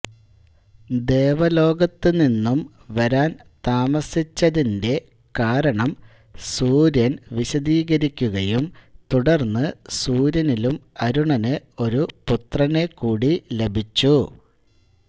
ദേവലോകത്തു നിന്നും വരാൻ താമസിച്ചതിന്റെ കാരണം സൂര്യന് വിശദീകരിക്കുകയും തുടർന്ന് സൂര്യനിലും അരുണനു ഒരു പുത്രനെ കൂടി ലഭിച്ചു